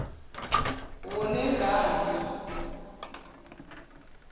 wone ngani m